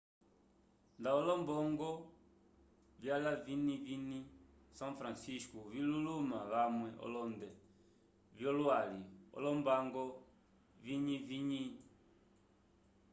nda olombongo vla viñiviikaya são francisco vi luluma vamwe olonde vyo lwali olombango viñiviñi